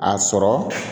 A sɔrɔ